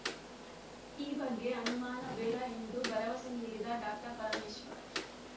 ಈ ಬಗ್ಗೆ ಅನುಮಾನ ಬೇಡ ಎಂದು ಭರವಸೆ ನೀಡಿದ ಡಾಕ್ಟರ್ ಪರಮೇಶ್ವರ್‌